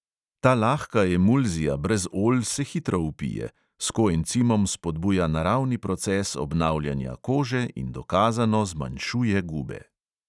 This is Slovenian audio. Ta lahka emulzija brez olj se hitro vpije, s koencimom spodbuja naravni proces obnavljanja kože in dokazano zmanjšuje gube.